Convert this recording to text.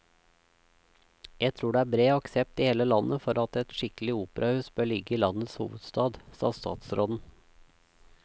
Jeg tror det er bred aksept i hele landet for at et skikkelig operahus bør ligge i landets hovedstad, sa statsråden.